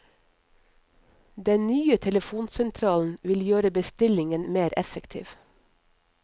Den nye telefonsentralen vil gjøre bestillingen mer effektiv.